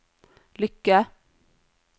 lykke